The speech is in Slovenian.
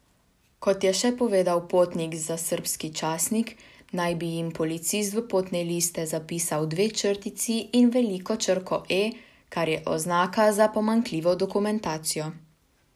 Kot je še povedal potnik za srbski časnik, naj bi jim policist v potne liste zapisal dve črtici in veliko črko E, kar je oznaka za pomanjkljivo dokumentacijo.